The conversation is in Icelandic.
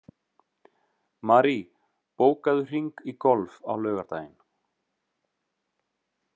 Marie, bókaðu hring í golf á laugardaginn.